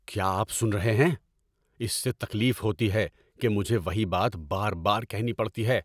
کیا آپ سن رہے ہیں؟ اس سے تکلیف ہوتی ہے کہ مجھے وہی بات بار بار کہنی پڑتی ہے۔